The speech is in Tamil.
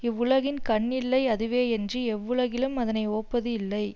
இவ்வுலகின் கண் இல்லை அதுவேயன்றி எவ்வுலகிலும் அதனை ஓப்பது இல்லை